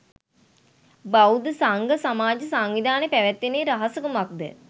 බෞද්ධ සංඝ සමාජ සංවිධානය පැවැත්මේ රහස කුමක්ද?